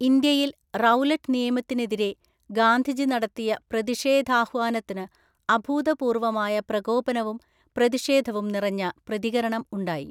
ഇന്ത്യയിൽ, റൗലറ്റ് നിയമത്തിനെതിരെ ഗാന്ധിജി നടത്തിയ പ്രതിഷേധാഹ്വാനത്തിന് അഭൂതപൂര്‍വമായ പ്രകോപനവും പ്രതിഷേധവും നിറഞ്ഞ പ്രതികരണം ഉണ്ടായി.